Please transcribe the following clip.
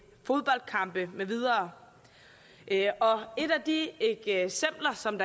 fodboldkampe med videre og et af de eksempler som